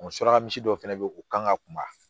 suraka misi dɔ fɛnɛ be yen o kan ka kunba